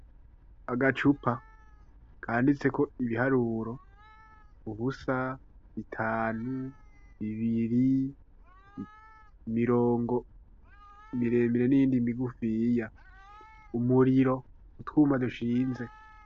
Agacupa, kanditseko ibiharuro ,ubusa ,bitanu ,bibiri ,imirongo miremire, n'iyindi migufiya ,umuriro, utwuma dushinze.